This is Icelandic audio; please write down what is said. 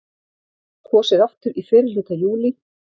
Kosið aftur í fyrrihluta júlí